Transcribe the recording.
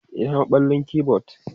Ina maballin keyboard?